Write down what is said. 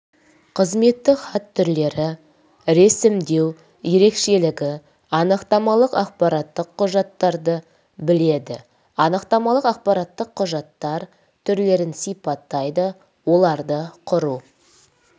қызметтік хат түрлері ресімдеу ерекшелігі анықтамалық ақпараттық құжаттарды біледі анықтамалық ақпараттық құжаттар түрлерін сипаттайды оларды құру